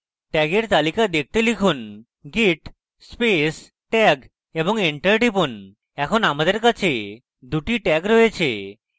tag তালিকা দেখতে লিখুন: git space tag এবং enter টিপুন এখন আমাদের কাছে দুটি tag রয়েছে